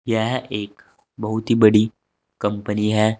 यह एक बहोत ही बड़ी कंपनी है।